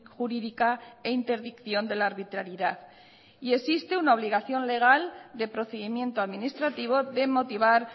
jurídica e interdicción de la arbitrariedad y existe una obligación legal de procedimiento administrativo de motivar